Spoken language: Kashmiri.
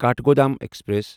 کاٹھگودام ایکسپریس